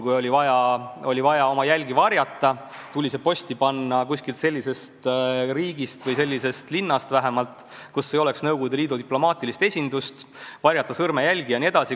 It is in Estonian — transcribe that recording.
Kui oli vaja oma jälgi varjata, tuli kirjad posti panna kuskilt sellisest riigist või vähemalt sellisest linnast, kus polnud Nõukogude Liidu diplomaatilist esindust, ka oli vaja varjata sõrmejälgi jne.